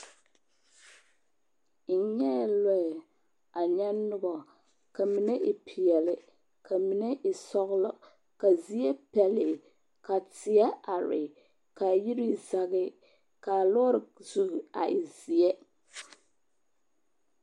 N nyɛɛ lɔɛ, a nyɛ nobɔ, ka mine e peɛle, ka mine e sɔglɔ, ka a zie pɛlee, ka teɛ are, ka yiri zage, k'a lɔɔre zu a e zeɛ.